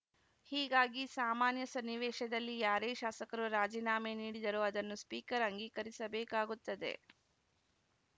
ಹೀಗಾಗಿ ಸಾಮಾನ್ಯ ಸನ್ನಿವೇಶದಲ್ಲಿ ಯಾರೇ ಶಾಸಕರು ರಾಜೀನಾಮೆ ನೀಡಿದರೂ ಅದನ್ನು ಸ್ಪೀಕರ್‌ ಅಂಗೀಕರಿಸಬೇಕಾಗುತ್ತದೆ